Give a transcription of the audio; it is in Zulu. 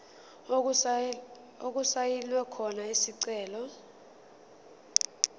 okusayinwe khona isicelo